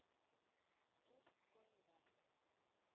Joseph co-ed ah